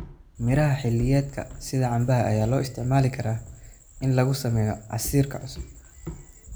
Miraha xilliyeedka sida cambaha ayaa loo isticmaali karaa in lagu sameeyo casiir cusub.